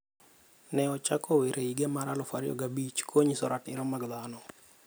Ne ochako wer e higa mar 2005 konyiso ratiro mag dhano.